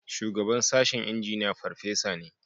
Shugaban sashen Injiniya farfesa ne